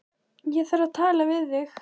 Ég þarf að tala við þig.